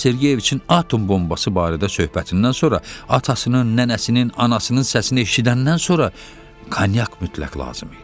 Movses Sergeyeviçin atom bombası barədə söhbətindən sonra atasının, nənəsinin, anasının səsini eşidəndən sonra konyak mütləq lazım idi.